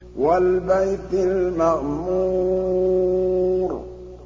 وَالْبَيْتِ الْمَعْمُورِ